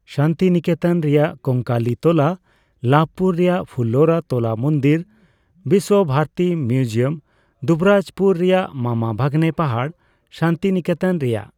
ᱥᱟᱱᱛᱤᱱᱤᱠᱮᱛᱚᱱ ᱨᱮᱭᱟᱜ ᱠᱚᱝᱠᱟᱞᱤ ᱛᱚᱞᱟ, ᱞᱟᱵᱷᱯᱩᱨ ᱨᱮᱭᱟᱜ ᱯᱷᱩᱞ ᱞᱚᱞᱟ ᱛᱚᱞᱟ ᱢᱚᱱᱫᱤᱨ, ᱵᱤᱥᱥᱚᱵᱷᱟᱨᱚᱛᱤ ᱢᱤᱭᱩᱡᱤᱭᱟᱢ, ᱫᱩᱵᱨᱟᱡᱯᱩᱨ ᱨᱮᱭᱟᱜ ᱢᱟᱢᱟ ᱵᱷᱟᱜᱱᱮ ᱯᱟᱦᱟᱲ, ᱥᱟᱱᱛᱤᱱᱤᱠᱮᱛᱚᱱ ᱨᱮᱭᱟᱜ